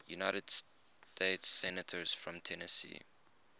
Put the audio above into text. united states senators from tennessee